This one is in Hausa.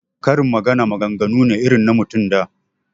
Karin magana maganganu ne irin na mutan da